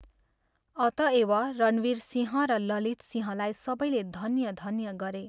अतएव रणवीरसिंह र ललितसिंहलाई सबैले धन्य धन्य गरे।